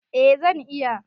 Eh zan iya.